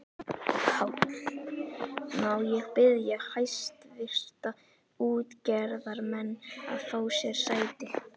PÁLL: Má ég biðja hæstvirta útgerðarmenn að fá sér sæti.